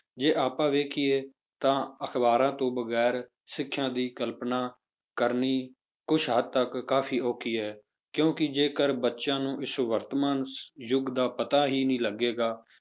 ਜੇ ਆਪਾਂ ਵੇਖੀਏ ਤਾਂ ਅਖ਼ਬਾਰਾਂ ਤੋਂ ਵਗ਼ੈਰਾ ਸਿੱਖਿਆ ਦੀ ਕਲਪਨਾ ਕਰਨੀ ਕੁਛ ਹੱਦ ਤੱਕ ਕਾਫ਼ੀ ਔਖੀ ਹੈ ਕਿਉਂਕਿ ਜੇਕਰ ਬੱਚਿਆਂ ਨੂੰ ਇਸ ਵਰਤਮਾਨ ਯੁੱਗ ਦਾ ਪਤਾ ਹੀ ਨੀ ਲੱਗੇਗਾ,